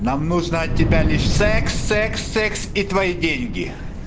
нам нужно от тебя лишь секс секс секс и твои деньги